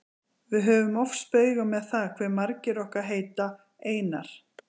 Við höfum oft spaugað með það hve margir okkar heita Einar.